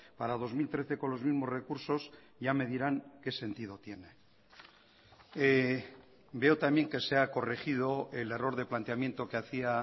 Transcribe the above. para dos mil trece con los mismos recursos ya me dirán qué sentido tiene veo también que se ha corregido el error de planteamiento que hacía